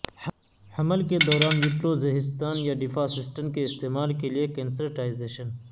حمل کے دوران یوٹروزہستان یا ڈفاسسٹن کے استعمال کے لئے کنسرٹائزیشن